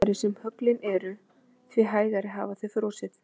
Því gegnsærri sem höglin eru því hægar hafa þau frosið.